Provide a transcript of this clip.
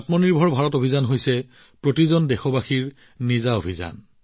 আত্মনিৰ্ভৰ ভাৰতৰ এই অভিযান প্ৰতিজন দেশবাসীৰ অভিযান